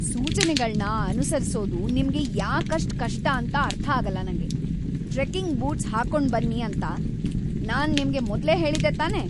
ಸೂಚನೆಗಳ್ನ ಅನುಸರಿಸೋದು ನಿಮ್ಗೆ ಯಾಕಷ್ಟ್‌ ಕಷ್ಟ ಅಂತ ಅರ್ಥಾಗಲ್ಲ ನಂಗೆ. ಟ್ರೆಕ್ಕಿಂಗ್ ಬೂಟ್ಸ್‌ ಹಾಕೊಂಡ್ಬನ್ನಿ ಅಂತ ನಾನ್ ನಿಮ್ಗೆ ಮೊದ್ಲೇ ಹೇಳಿದ್ದೆ ತಾನೇ!